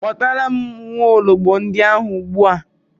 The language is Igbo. Kpọtara m nwaologbo ndia ugbua